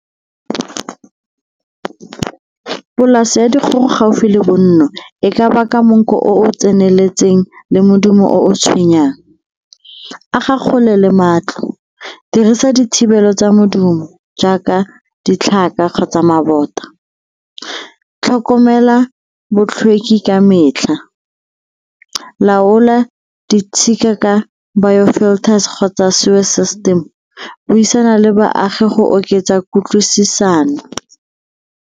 Polase ya dikgogo gaufi le bonno e ka baka monkgo o o tseneletseng le modumo o tshwenyang. Aga kgole le matlo, dirisa dithibelo tsa modumo jaaka ditlhaka kgotsa mabota. Tlhokomela botlhweki ka metlha, laola ditshika ka biofilters kgotsa system, buisana le baagi go oketsa kutlwisisano.